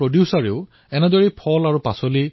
তেওঁলোকে ইয়াৰ নাম ৰাখিছে ইৰাদা ফাৰ্মাৰ প্ৰডিউচাৰ